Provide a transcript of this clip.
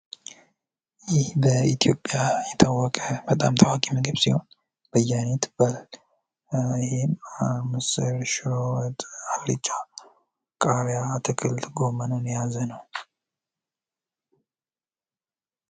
ይህ በኢትዮጵያ የታወቀ በጣም ታዋቂ ምግብ ሲሆን በየአይነት ይባላል። ይህም ምስር፣ ሽሮ፣ አልጫ፣ ቃሪያ፣ ግመን የያዘ ነዉ።